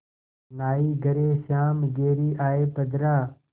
नाहीं घरे श्याम घेरि आये बदरा